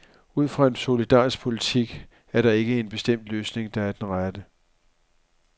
Ud fra en solidarisk politik er der ikke en bestemt løsning, der er den rette.